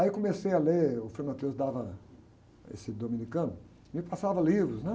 Aí comecei a ler, o frei dava, esse dominicano, me passava livros, né?